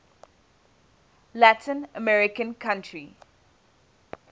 latin american country